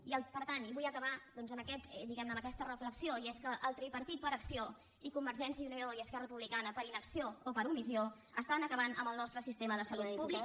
i per tant i vull acabar doncs amb aquest diguem ne amb aquesta reflexió i és que el tripartit per acció i convergència i unió i esquerra republicana per inacció o per omissió estan acabant amb el nostre sistema de salut pública